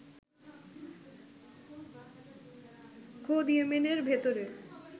খোদ ইয়েমেনের ভেতরে